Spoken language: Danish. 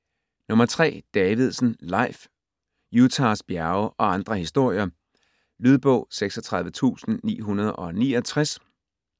Davidsen, Leif: Utahs bjerge og andre historier Lydbog 36969